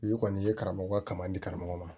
I kɔni i ye karamɔgɔya kama di karamɔgɔ ma